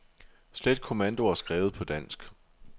Slet kommandoer skrevet på dansk.